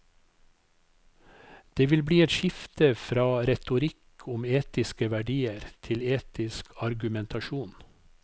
Det vil bli et skifte fra retorikk om etiske verdier til etisk argumentasjon.